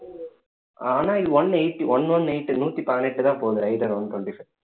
ஆனா இது one eighty one one eight நூத்தி பதினெட்டுதான் போகுது rider one twenty-five